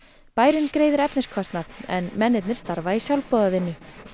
bærinn greiðir efniskostnað en mennirnir starfa í sjálfboðavinnu